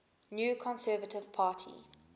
new conservative party